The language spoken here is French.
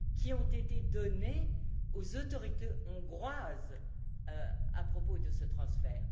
ont été données aux autorités hongroises à propos de ce transfert.